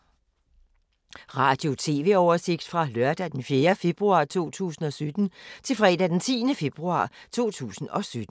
Radio/TV oversigt fra lørdag d. 4. februar 2017 til fredag d. 10. februar 2017